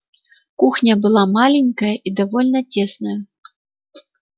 кухня была маленькая и довольно тесная